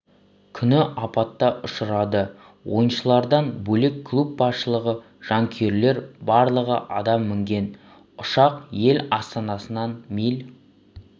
күні апата ұшырады ойыншылардан бөлек клуб басшылығы жанкүйерлер барлығы адам мінген ұшақ ел астанасынан миль